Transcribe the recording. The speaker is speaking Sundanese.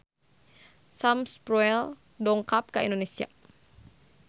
Sam Spruell dongkap ka Indonesia